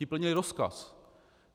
Ti plnili rozkaz.